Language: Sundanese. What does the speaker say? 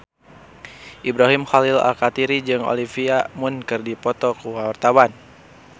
Ibrahim Khalil Alkatiri jeung Olivia Munn keur dipoto ku wartawan